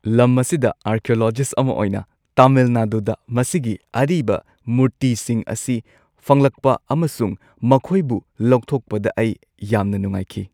ꯂꯝ ꯑꯁꯤꯗ ꯑꯥꯔꯀꯤꯑꯣꯂꯣꯖꯤꯁꯠ ꯑꯃ ꯑꯣꯏꯅ, ꯇꯥꯃꯤꯜ ꯅꯥꯗꯨꯗ ꯃꯁꯤꯒꯤ ꯑꯔꯤꯕ ꯃꯨꯔꯇꯤꯁꯤꯡ ꯑꯁꯤ ꯐꯪꯂꯛꯄ ꯑꯃꯁꯨꯡ ꯃꯈꯣꯏꯕꯨ ꯂꯧꯊꯣꯛꯄꯗ ꯑꯩ ꯌꯥꯝꯅ ꯅꯨꯡꯉꯥꯏꯈꯤ꯫